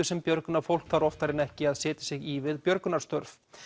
sem björgunarfólk þarf oftar en ekki að setja sig í við björgunarstörf